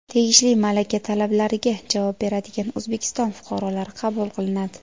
tegishli malaka talablariga javob beradigan O‘zbekiston fuqarolari qabul qilinadi.